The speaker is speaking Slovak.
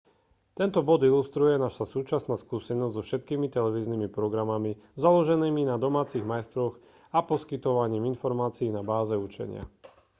tento bod ilustruje naša súčasná skúsenosť so všetkými televíznymi programami založenými na domácich majstroch a poskytovaním informácií na báze učenia